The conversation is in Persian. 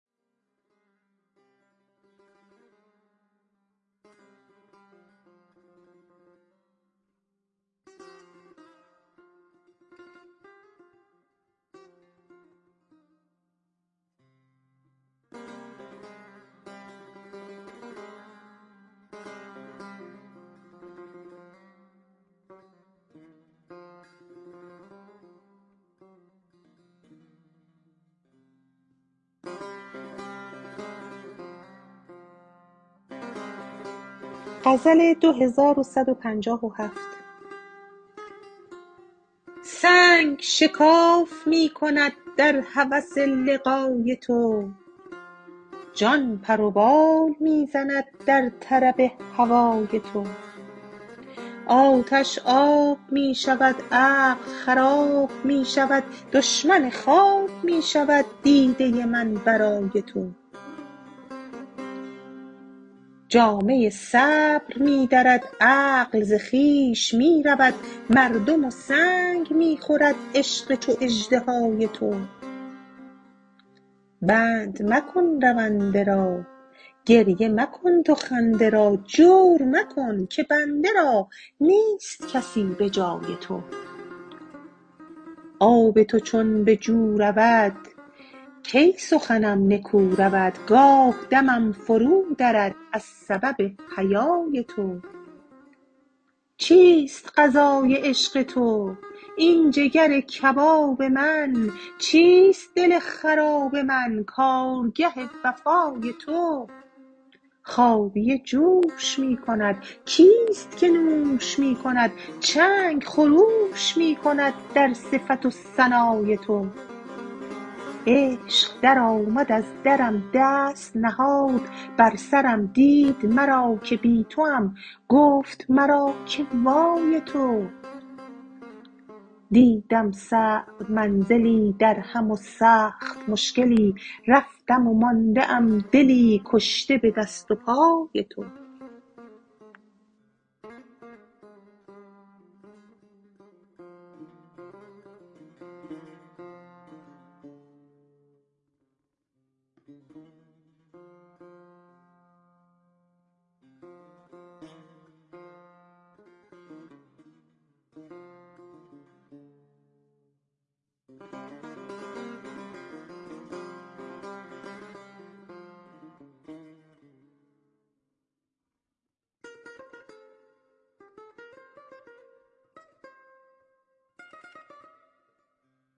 سنگ شکاف می کند در هوس لقای تو جان پر و بال می زند در طرب هوای تو آتش آب می شود عقل خراب می شود دشمن خواب می شود دیده من برای تو جامه صبر می درد عقل ز خویش می رود مردم و سنگ می خورد عشق چو اژدهای تو بند مکن رونده را گریه مکن تو خنده را جور مکن که بنده را نیست کسی به جای تو آب تو چون به جو رود کی سخنم نکو رود گاه دمم فرودرد از سبب حیای تو چیست غذای عشق تو این جگر کباب من چیست دل خراب من کارگه وفای تو خابیه جوش می کند کیست که نوش می کند چنگ خروش می کند در صفت و ثنای تو عشق درآمد از درم دست نهاد بر سرم دید مرا که بی توام گفت مرا که وای تو دیدم صعب منزلی درهم و سخت مشکلی رفتم و مانده ام دلی کشته به دست و پای تو